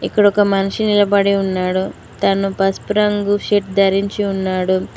ఇక్కడ ఒక మనిషి నిలబడి ఉన్నాడు తను పసుపూ రంగు సెట్ ధరించి ఉన్నాడు.